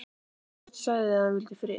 Björn sagði að hann vildi frið.